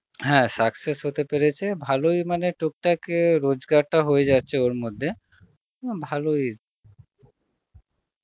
হ্যাঁ success হতে পেরেছে, ভালই মানে টুকটাক এ রোজগারটা হয়ে যাচ্ছে ওর মধ্যে, না ভালই